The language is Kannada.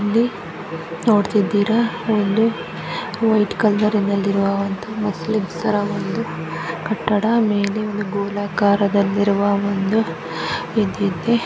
ಇಲ್ಲಿ ನೋಡ್ತಿದ್ದೀರಾ ಒಂದು ವೈಟ್ ಕಲರ್ ನಿಂದ ಇರುವ ಮುಸ್ಲಿಂಸರ ಒಂದು ಕಟ್ಟಡ ಮೇಲೆ ಗೋಲಾಕಾರದಲ್ಲಿರುವ ಒಂದು ಇದ ಇದೆ --